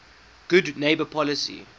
good neighbor policy